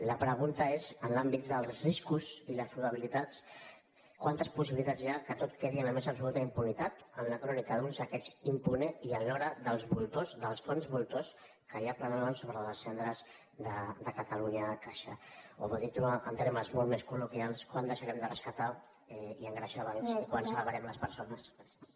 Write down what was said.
la pregunta és en l’àmbit dels riscos i les probabilitats quantes possibilitats hi ha que tot quedi en la més absoluta impunitat en la crònica d’un saqueig impune i en l’hora dels voltors dels fons voltors que ja planen sobre les cendres de catalunya caixa o dit en termes molt més colengreixar bancs i quan salvarem les persones gràcies